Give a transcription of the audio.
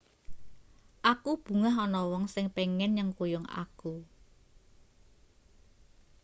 aku bungah ana wong sing pengin nyengkuyung aku